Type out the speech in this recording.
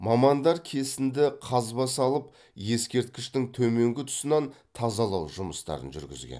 мамандар кесінді қазба салып ескерткіштің төменгі тұсынан тазалау жұмыстарын жүргізген